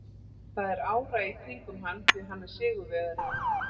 Það er ára í kringum hann því hann er sigurvegari.